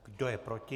Kdo je proti?